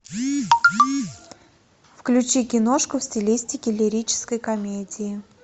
включи киношку в стилистике лирической комедии